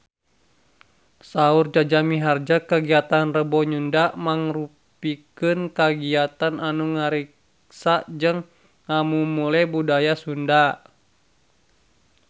Saur Jaja Mihardja kagiatan Rebo Nyunda mangrupikeun kagiatan anu ngariksa jeung ngamumule budaya Sunda